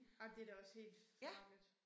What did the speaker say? Ej men det da også helt farligt